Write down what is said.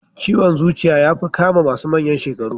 Ciwon zuciya yafi kama masu manyan shekaru.